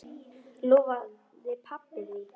Lofaði pabba því.